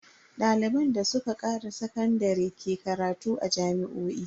Daliban da suka kare sakandare ke karatu a jami'o'i.